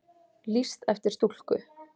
Lýst eftir stúlku